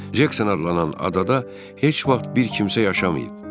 Cekson adlanan adada heç vaxt bir kimsə yaşamayıb.